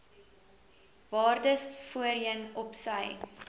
waardes voorheen opsy